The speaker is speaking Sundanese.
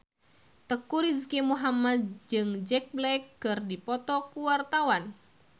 Teuku Rizky Muhammad jeung Jack Black keur dipoto ku wartawan